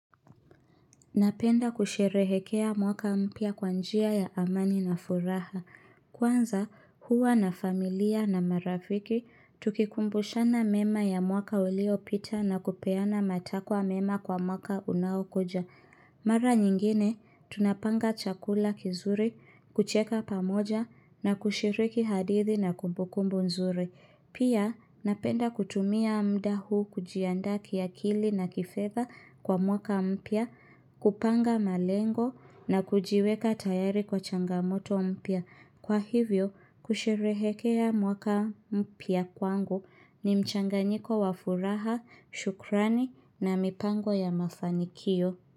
Napenda kusherehekea mwaka mpya kwa njia ya amani na furaha. Kwanza, huwa na familia na marafiki, tukikumbushana mema ya mwaka uliopita na kupeana matakwa mema kwa mwaka unaokoja. Mara nyingine, tunapanga chakula kizuri, kucheka pamoja na kushiriki hadithi na kumbukumbu nzuri. Pia napenda kutumia muda huu kujiandaa kiakili na kifedha kwa mwaka mpya, kupanga malengo na kujiweka tayari kwa changamoto mpya. Kwa hivyo, kusherehekea mwaka mpya kwangu ni mchanganyiko wa furaha, shukrani na mipango ya mafanikio.